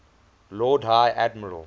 lord high admiral